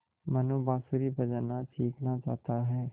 मनु बाँसुरी बजाना सीखना चाहता है